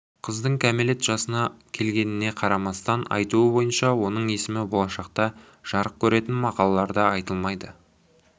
қыздың кәмелет жасына келгеніне қарамастан айтуы бойынша оның есімі болашақта жарық көретін мақалаларда айтылмайды